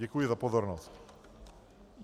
Děkuji za pozornost.